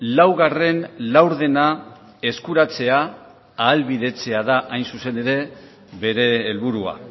laugarren laurdena eskuratzea ahalbidetzea da hain zuzen ere bere helburua